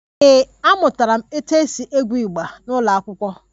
Ee, amụtara m otú e si egwu igba n'ụlọ akwụkwọ